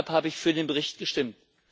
Deshalb habe ich für den Bericht gestimmt.